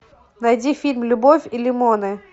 найди фильм любовь и лимоны